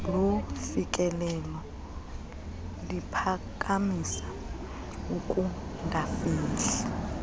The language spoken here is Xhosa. lofikelelo liphakamisa ukungafihli